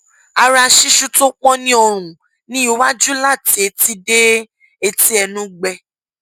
ara ṣíṣú tó pọn ní ọrùn ní iwájú láti etí dé etí ẹnú gbẹ